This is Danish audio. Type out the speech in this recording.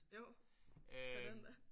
Jo for den da